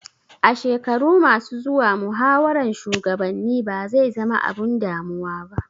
A shekaru ma su zuwa muhawaran shugabanni ba zai zama abun damuwa ba